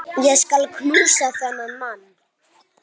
Ég skal knúsa þennan mann!